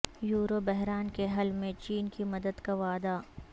euro بحران کے حل میں چین کی مدد کا وعدہ